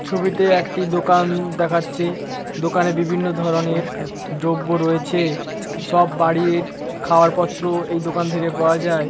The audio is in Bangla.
ছবিতে একটি দোকান দেখাচ্ছে দোকানে বিভিন্ন ধরনের দ্রব্য রয়েছে সব বাড়ির খাওয়ার পত্র এই দোকান থেকে পাওয়া যায় ।